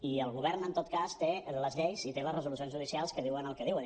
i el govern en tot cas té les lleis i té les resolucions judicials que diuen el que diuen